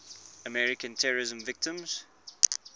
american terrorism victims